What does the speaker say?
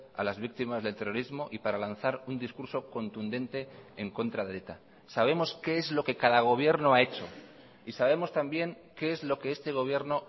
a las víctimas del terrorismo y para lanzar un discurso contundente en contra de eta sabemos qué es lo que cada gobierno ha hecho y sabemos también qué es lo que este gobierno